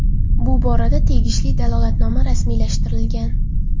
Bu borada tegishli dalolatnoma rasmiylashtirilgan.